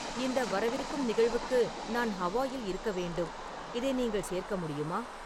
இந்த வரவிருக்கும் நிகழ்வுக்கு நான் ஹவாயில் இருக்க வேண்டும் இதை நீங்கள் சேர்க்க முடியுமா